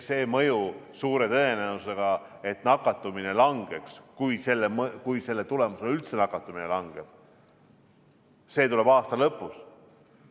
See mõju, suure tõenäosusega – et nakatumine langeks, kui selle tulemusena üldse nakatumine langeb –, tuleb aasta lõpus.